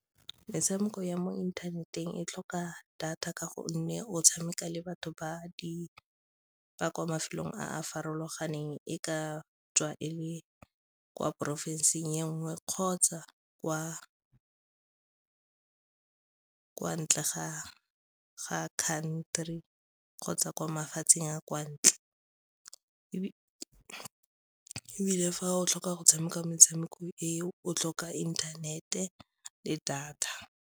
Metshameko ya mo inthaneteng e tlhoka data ka gonne o tshameka le batho ba kwa mafelong a farologaneng e ka tswa e le kwa porofensing e nngwe kgotsa kwa ntle ga country kgotsa kwa mafatsheng a kwa ntle. Fa o tlhoka go tshameka metshameko e, o tlhoka internet-e le data.